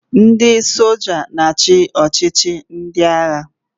Ndị soja na-achị n'ọchịchị ndị agha.